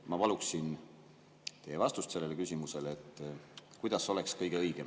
" Ma paluksin teie vastust sellele küsimusele, kuidas oleks kõige õigem.